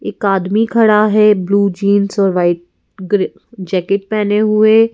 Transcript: एक आदमी खड़ा है ब्लू जींस और वाइट गरि जैकेट पहने हुए --